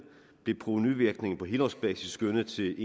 blev provenuvirkningen på helårsbasis skønnet til